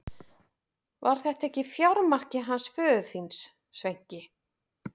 Var þetta ekki fjármarkið hans föður þíns, Sveinki?